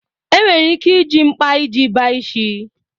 Enwere ike iji mkpa iji bachie.